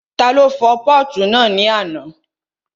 Ta ló fọ pọ́ọ̀tù náà ní àná?